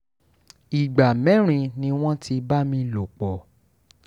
ìgbà mẹ́rin ni wọ́n ti bá mi lò pọ̀